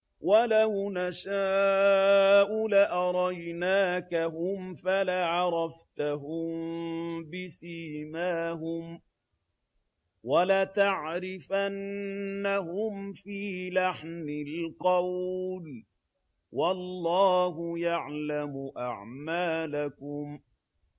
وَلَوْ نَشَاءُ لَأَرَيْنَاكَهُمْ فَلَعَرَفْتَهُم بِسِيمَاهُمْ ۚ وَلَتَعْرِفَنَّهُمْ فِي لَحْنِ الْقَوْلِ ۚ وَاللَّهُ يَعْلَمُ أَعْمَالَكُمْ